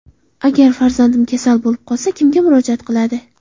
Agar farzandim kasal bo‘lib qolsa, kimga murojaat qiladi?